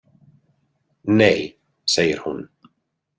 Nei, segir hún.